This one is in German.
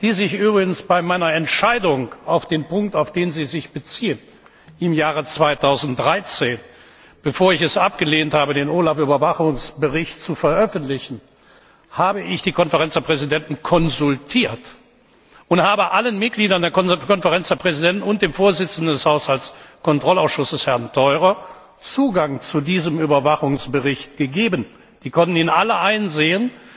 Übrigens habe ich bei meiner Entscheidung über den Punkt, auf den Sie sich beziehen, im Jahr 2013, bevor ich es abgelehnt habe, den OLAF Überwachungsbericht zu veröffentlichen, die Konferenz der Präsidenten konsultiert und allen Mitgliedern der Konferenz der Präsidenten und dem Vorsitzenden des Haushaltskontrollausschusses, Herrn Theurer, Zugang zu diesem Überwachungsbericht gegeben sie konnten ihn alle einsehen!